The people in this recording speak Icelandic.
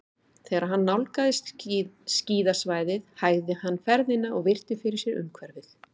Þegar hann nálgaðist skíðasvæðið hægði hann ferðina og virti fyrir sér umhverfið.